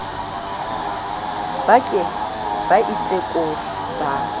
ba ke ba itekole ba